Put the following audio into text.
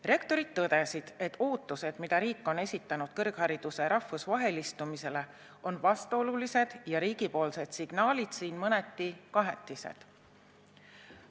Rektorid tõdesid, et ootused, mida riik on esitanud kõrghariduse rahvusvahelistumisele, on vastuolulised, ja riigipoolsed signaalid mõneti kahetised.